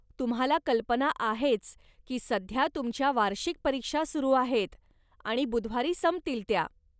तुम्हाला कल्पना आहेच की सध्या तुमच्या वार्षिक परीक्षा सुरु आहेत आणि बुधवारी संपतील त्या.